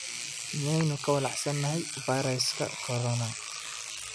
miyaynu ka walaacsanahay fayraska Corona?